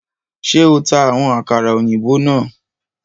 Ṣe o ta awọn àkàrà òyìnbó náà?